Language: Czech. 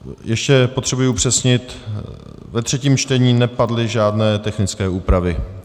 Ještě potřebuji upřesnit - ve třetím čtení nepadly žádné technické úpravy?